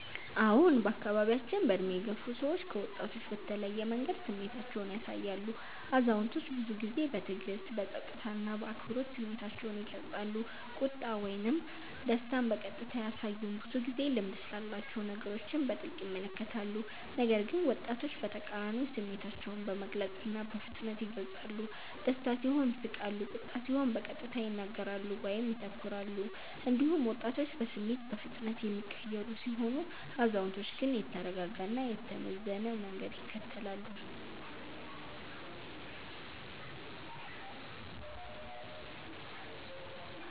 አዎን፣ በአካባቢያችን በዕድሜ የገፉ ሰዎች ከወጣቶች በተለየ መንገድ ስሜታቸውን ያሳያሉ። አዛውንቶች ብዙ ጊዜ በትዕግስት፣ በጸጥታ እና በአክብሮት ስሜታቸውን ይገልጻሉ፤ ቁጣ ወይም ደስታን በቀጥታ አያሳዩም፣ ብዙ ጊዜ ልምድ ስላላቸው ነገሮችን በጥልቅ ይመለከታሉ። ነገር ግን ወጣቶች በተቃራኒው ስሜታቸውን በግልጽ እና በፍጥነት ይገልጻሉ፤ ደስታ ሲሆን ይስቃሉ፣ ቁጣ ሲሆን በቀጥታ ይናገራሉ ወይም ይተኩራሉ። እንዲሁም ወጣቶች በስሜት በፍጥነት የሚቀየሩ ሲሆኑ፣ አዛውንቶች ግን የተረጋጋ እና የተመዘነ መንገድ ይከተላሉ።